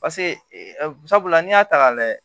Paseke sabula la n'i y'a ta k'a lajɛ